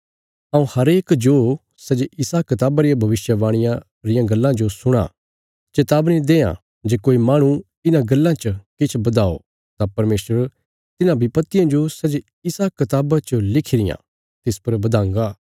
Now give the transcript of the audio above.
हऊँ हरेक जो सै जे इसा कताबा रिया भविष्यवाणिया रियां गल्लां जो सुणां चेतावनी देआं जे कोई माहणु इन्हां गल्लां च किछ बधाओ तां परमेशर तिन्हां विपत्तियां जो सै जे इसा कताबा च लिखी रियां तिस पर बधांगा